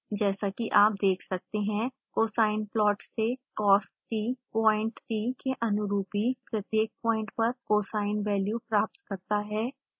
जैसा कि आप देख सकते हैं cosine plot से cost प्वाइंट t के अनुरूपी प्रत्येक प्वाइंट पर cosine वेल्यू प्राप्त करता है